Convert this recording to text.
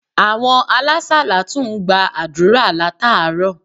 Àwon alásàlátù n gba àdúrà látàárò